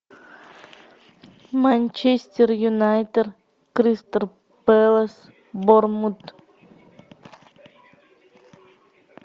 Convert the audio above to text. манчестер юнайтед кристал пэлас борнмут